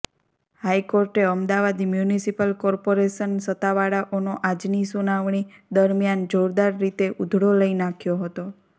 હાઇકોર્ટે Ahmedabad municipal corporation સત્તાવાળાઓનો આજની સુનાવણી દરમ્યાન જોરદાર રીતે ઉધડો લઇ નાંખ્યો હતો